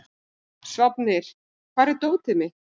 Sváfnir, hvar er dótið mitt?